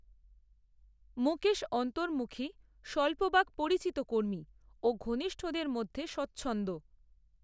মুকেশ অন্তর্মুখী স্বল্পবাক পরিচিত কর্মী ও ঘনিষ্ঠদের মধ্যে স্বচ্ছন্দ